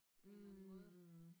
På en eller anden måde?